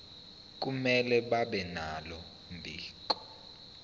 akumele babenalo mbiko